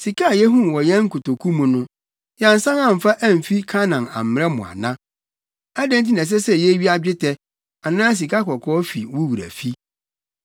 Sika a yehuu wɔ yɛn nkotoku mu no, yɛansan amfa amfi Kanaan ammrɛ mo ana? Adɛn nti na ɛsɛ sɛ yewia dwetɛ anaa sikakɔkɔɔ fi wo wura fi?